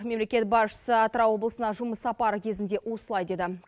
мемлекет басшысы атырау облысына жұмыс сапары кезінде осылай деді